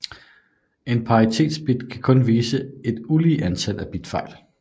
En paritetsbit kan kun vise et ulige antal bitfejl